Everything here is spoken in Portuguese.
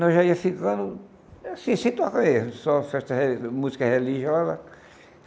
Nós já ia ficando assim, sem tocar erros, só só música religiosa.